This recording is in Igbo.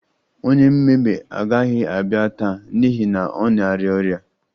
Onye mmebe agaghị abịa taa n'ihi na ọ na-arịa ọrịa